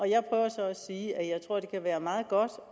jeg prøver så at sige at jeg tror det kan være meget godt